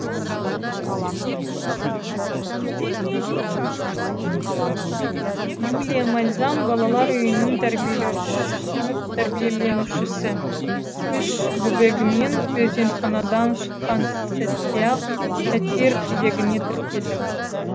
юлия мальзам балалар үйінің тәрбиеленушісі үш бөбегіммен перзентханадан шыққан сәтте ақ пәтер кезегіне тіркелдім